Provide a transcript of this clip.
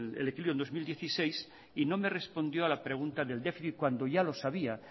el equilibrio en el dos mil dieciséis y no me respondió a la pregunta del déficit cuando yo lo sabía